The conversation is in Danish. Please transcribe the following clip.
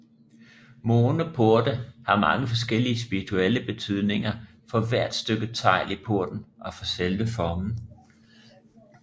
Måneporte har mange forskellige spirituelle betydninger for hvert stykke tegl i porten og for selve formen